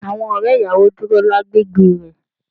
Awon ore iyawo duro legbe re.